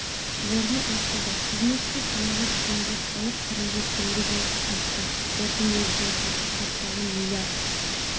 орны ашылды бизнеске салынған теңге салық түрінде теңге болып қайтты қордың өзінің жеке капиталы миллиард